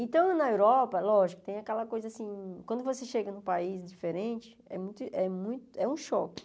Então, na Europa, lógico, tem aquela coisa assim, quando você chega num país diferente, é muito é mu é um choque.